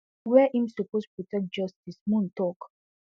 wey im suppose protect justice moon talk